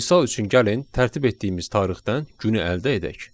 Misal üçün gəlin tərtib etdiyimiz tarixdən günü əldə edək.